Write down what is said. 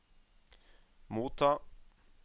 motta